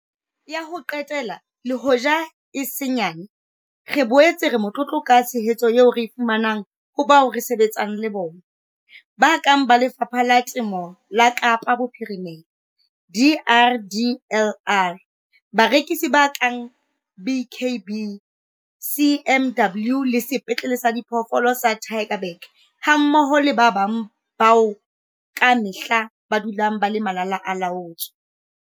Ya ho qetela, le hoja e se nyane, re boetse re motlotlo ka tshehetso eo re e fumaneng ho bao re sebetsang le bona, ba kang ba Lefapha la Temo la Kaapa Bophirimela, DRDLR, barekisi ba kang BKB, CMW le Sepetlele sa Diphoofolo sa Tygerberg hammoho le ba bang bao ka mehla ba dulang ba le malala-a-laotswe.